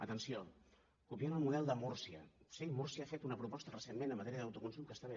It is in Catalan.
atenció copiant el model de múrcia sí múrcia ha fet una proposta recentment en matèria d’autoconsum que està bé